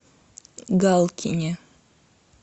галкине